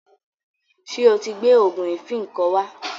Ṣé o ti gbẹ́ òògùn ìfínko wá?